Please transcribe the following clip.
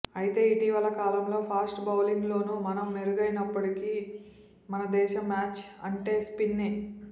అయితే ఇటీవల కాలంలో ఫాస్ట్ బౌలింగ్లోనూ మనం మెరుగవుతున్నప్పటికీ మన దేశంలో మ్యాచ్ అంటే స్పిన్నే